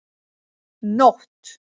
Nótt